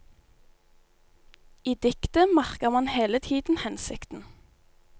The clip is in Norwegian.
I diktet merker man hele tiden hensikten.